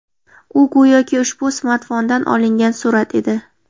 U, go‘yoki ushbu smartfondan olingan surat edi.